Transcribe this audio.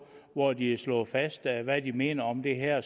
hvor de har slået fast hvad hvad de mener om det her